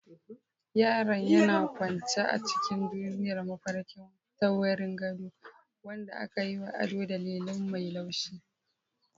Yaron yana kwance a cikin duniyar mafarki ta wurin gado, wanda aka yi wa ado da lilin mai laushi.